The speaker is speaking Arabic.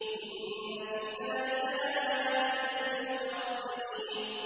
إِنَّ فِي ذَٰلِكَ لَآيَاتٍ لِّلْمُتَوَسِّمِينَ